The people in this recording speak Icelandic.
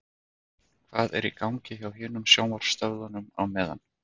Hvað er í gangi hjá hinum sjónvarpsstöðvunum á meðan?